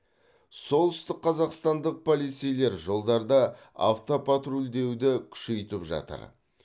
солтүстікқазақстандық полицейлер жолдарда автопатрульдеуді күшейтіп жатыр